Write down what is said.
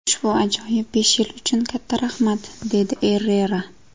Ushbu ajoyib besh yil uchun katta rahmat”, dedi Errera.